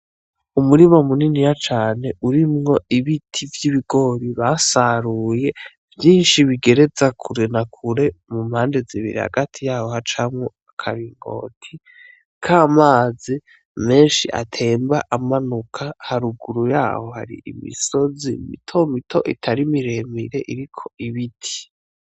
Umurima muniniya cane urimwo ibiti vy'ibigori basaruye vyishi bigereza kure na kure mu mpande zibiri hagati yaho hacamwo akaringoti k'amazi meshi atemba amanuka haruguru yaho hari imisozi mitomito itari miremire iriko ibiti.